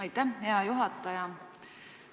Aitäh, hea juhataja!